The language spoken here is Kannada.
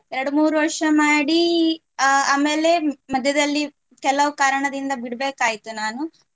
ಎರಡು ಮೂರು ವರ್ಷ ಮಾಡಿ ಅಹ್ ಆ ಆಮೇಲೆ ಮಧ್ಯದಲ್ಲಿ ಕೆಲವು ಕಾರಣದಿಂದ ಬಿಡ್ಬೇಕಾಯ್ತು ನಾನು